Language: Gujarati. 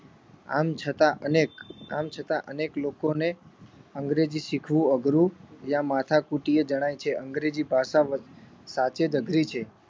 આમ છતાં અનેક આમ છતાં અનેક લોકોને અંગ્રેજી શીખવું અઘરું યા માથાકુટીય જણાય છે અંગ્રેજી ભાષા સાચે જ અઘરી છે